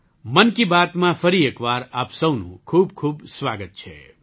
મન કી બાતમાં ફરી એક વાર આપ સહુનું ખૂબખૂબ સ્વાગત છે